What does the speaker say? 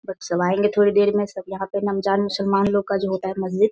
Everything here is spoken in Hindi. बस सब आएंगे थोड़ी देर में सब यहां पर रमज़ान मुसलमान लोगों का जो होता है मंदीर --